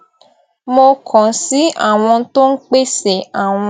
mo kàn sí àwọn tó ń pèsè àwọn